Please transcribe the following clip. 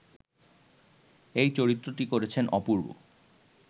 এই চরিত্রটি করেছেন অপূর্ব